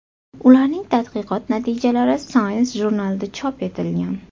Ularning tadqiqot natijalari Science jurnalida chop etilgan.